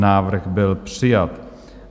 Návrh byl přijat.